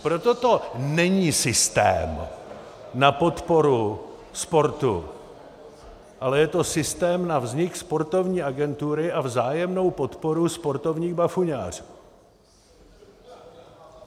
Proto to není systém na podporu sportu, ale je to systém na vznik sportovní agentury a vzájemnou podporu sportovních bafuňářů.